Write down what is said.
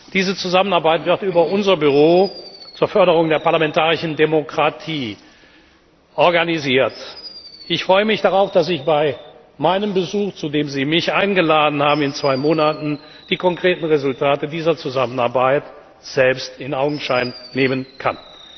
haben. Diese Zusammenarbeit wird über unser Büro zur Förderung der parlamentarischen Demokratie organisiert. Ich freue mich darauf, dass ich bei meinem Besuch in zwei Monaten, zu dem Sie mich eingeladen haben, die konkreten Resultate dieser Zusammenarbeit selbst in Augenschein